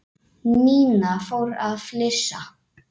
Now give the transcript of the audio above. Nína fór að flissa.